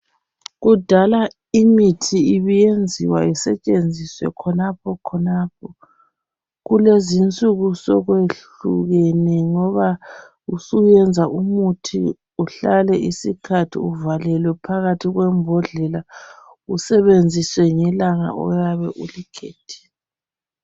Kudala imithi ibiyenziwa isetshenziswe khonapho khonapho. Kulezinsuku sokwehlukene ngoba usuyenza umuthi uhlale isikhathi uvalelwe phakathi kwembodlela .Usebenziswe ngelanga oyabe ulikhethile.